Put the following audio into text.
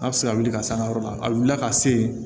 A bɛ se ka wuli ka s'an ka yɔrɔ la a wulila ka se